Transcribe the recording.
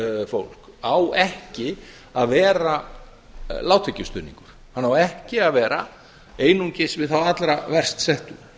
fólk á ekki að vera lágtekjustuðningur hann á ekki að vera einungis við þá allra verst settu